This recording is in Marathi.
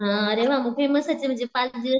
हा अरे वा म्हणजे म्हणजे पाच दिवस